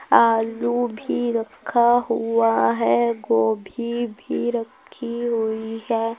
आलू भी रखा हुआ है। गोभी भी रखी हुई है।